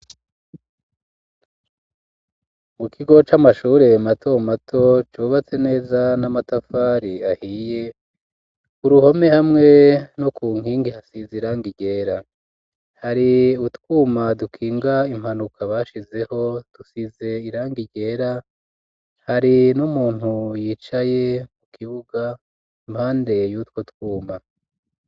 Mu kigo c'amashure mato mato ,cubatse neza ,n'amatafari ahiye ,uruhome hamwe no ku nkingi hasize irangi ryera ,hari utwuma dukinga impanuka ,bashizeho tusize irangi ryera, hari n'umuntu yicaye ku kibuga ,impande yutwo twuma.